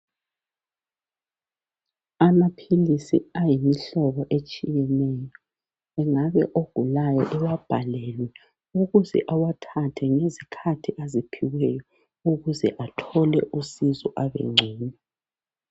Amaphilisi ayimhlobo etshiyeneyo engabe ogulayo ewabhalelwe ukuze awathathe ngezikhathi aziphiweyo ukuze athole usizo abe ngcono.